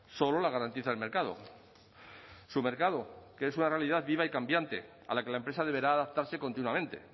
solo la garantiza el mercado su mercado que es una realidad viva y cambiante a la que la empresa deberá adaptarse continuamente